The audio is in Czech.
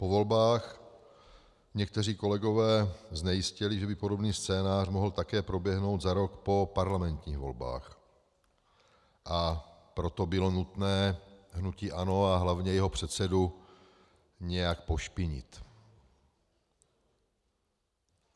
Po volbách někteří kolegové znejistěli, že by podobný scénář mohl také proběhnout za rok po parlamentních volbách, a proto bylo nutné hnutí ANO a hlavně jeho předsedu nějak pošpinit.